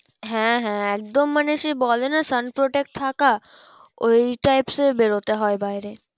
হ্যাঁ হ্যাঁ একদম মানে সেই বলে না sun protect থাকা ওই types এ বেরোতে হয় বাইরে।